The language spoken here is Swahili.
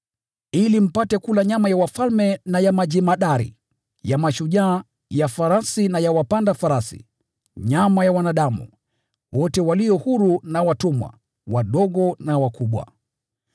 ili mpate kula nyama ya wafalme na ya majemadari, ya mashujaa, ya farasi na ya wapanda farasi, nyama ya wanadamu, wote walio huru na watumwa, wadogo na wakubwa.”